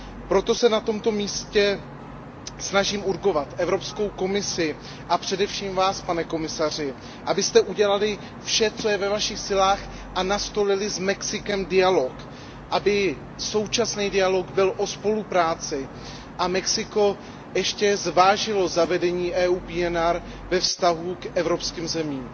Proto se na tomto místě snažím naléhavě vyzvat Evropskou komisi a především Vás, pane komisaři, abyste udělali vše, co je ve vašich silách, a nastolili s Mexikem dialog. Aby současný dialog byl o spolupráci a Mexiko ještě zvážilo zavedení EU PNR ve vztahu k evropským zemím.